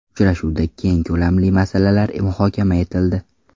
Uchrashuvda keng ko‘lamli masalalar muhokama etildi.